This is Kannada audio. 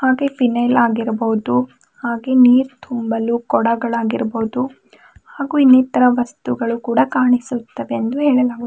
ಫಿನೈಲ್ ಆಗಿರ್ಬಹುದು ಹಾಗೆ ನೀರ್ ತುಂಬಲು ಕೊಡಗಳ್ ಆಗಿರ್ಬಹುದು ಹಾಗು ಇನ್ನಿತರ ವಸ್ತುಗಳು ಕೂಡ ಕಾಣಿಸುತ್ತವೆ ಎಂದು ಹೇಳಲಾಗು--